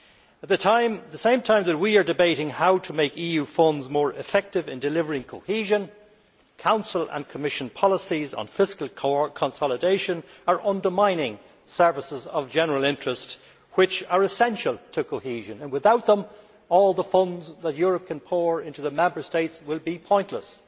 At the same time as we are debating how to make EU funds more effective in delivering cohesion, Council and Commission policies on fiscal consolidation are undermining services of general interest which are essential to cohesion. Without them, all the funds that Europe can pour into the Member States will be pointless.